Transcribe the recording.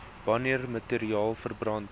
wanneer materiaal verbrand